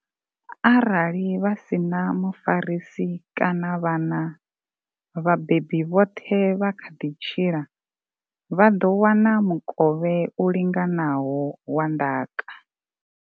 Arali vha si na mufarisi kana vhana, vhabebi vhoṱhe vha kha ḓi tshila, vha ḓo wana mukovhe u linganaho wa ndaka.